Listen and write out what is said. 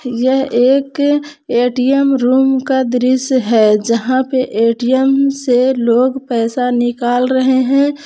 यह एक ATM room का दृश्य है जहां पे ए_टी_एम से लोग पैसा निकाल रहे हैं।